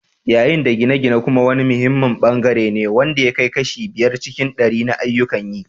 Yayin da gine-gine kuma wani muhimmin bangare ne wanda ya kai kashi biyar cikin ɗari na ayyukan yi.